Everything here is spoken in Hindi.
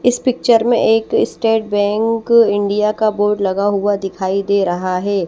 इस पिक्चर में एक स्टेट बैंक इंडिया का बोर्ड लगा हुआ दिखाई दे रहा है।